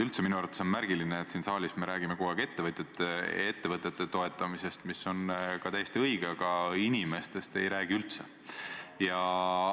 Üldse on minu arvates märgiline, et me räägime siin saalis kogu aeg ettevõtjate ja ettevõtete toetamisest, mis on täiesti õige, aga inimestest ei räägi me üldse.